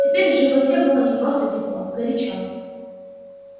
теперь в животе было не просто тепло горячо